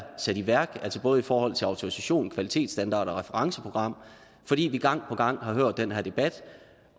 i værk altså både forhold til autorisation kvalitetsstandarder og referenceprogram fordi vi gang på gang har hørt den her debat